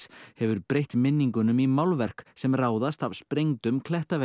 hefur breytt minningunum í málverk sem ráðast af sprengdum